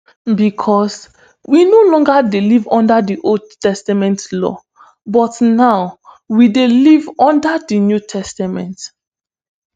becos we no longer dey live under di old testament law but now we dey live under di new testament